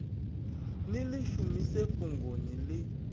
ni ḽi shumise fhungoni ḽi